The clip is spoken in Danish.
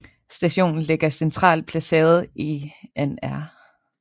Stationen ligger centralt placeret i Nr